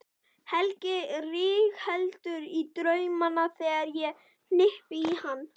Helgi rígheldur í draumana þegar ég hnippi í hann.